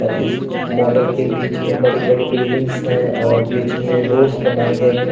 और इस मॉडल के बीच में बड़ी-बड़ी बिल्डिंग्स है और बीच में रोड्स बनाए गए है।